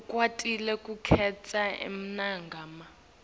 ukwatile kukhetsa emagama